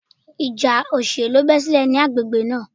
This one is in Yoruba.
Ìjà òṣèlú bẹ́ sílẹ̀ ní agbègbè náà.